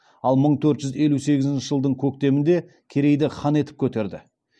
ал мың төрт жүз елу сегізінші жылдың көктемінде керейді хан етіп көтерді